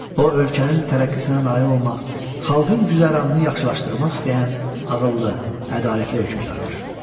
O ölkənin tərəqqisinə nail olmaq, xalqın güzəranını yaxşılaşdırmaq istəyən ağıllı, ədalətli hökmdardır.